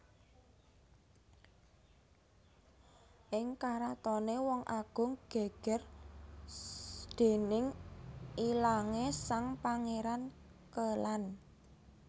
Ing karatoné Wong Agung gègèr déning ilangé sang Pangéran Kélan